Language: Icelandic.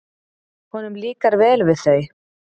Honum líkar vel við þau.